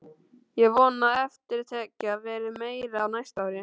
Ég vona að eftirtekjan verði meiri á næsta ári.